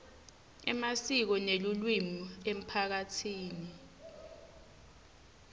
emasiko nelulwimi emphakatsini